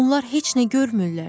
Onlar heç nə görmürlər.